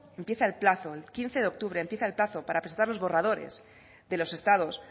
empieza el plazo el quince de octubre en pieza el plazo para presentar los borradores de los estados